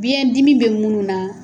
Biyɛn dimi be munnu na